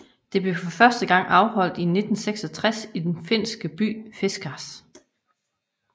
Det blev for første gang afholdt i 1966 i den finske by Fiskars